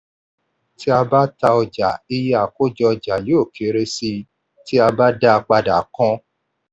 tí a bá ta ọjà iye àkójọ ọjà yóò kéré sí i tí a bá da padà kan.